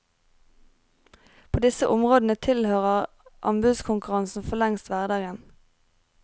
På disse områdene tilhører anbudskonkurransen forlengst hverdagen.